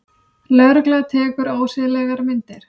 Lögregla tekur ósiðlegar myndir